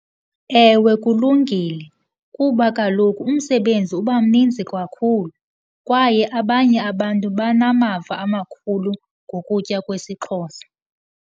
Ewe kulungile kuba kaloku umsebenzi uba mninzi kakhlu kwaye abanye abantu banamava amakhulu ngokutya kwesiXhosa.